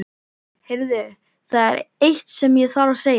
Heyrðu. það er eitt sem ég þarf að segja þér!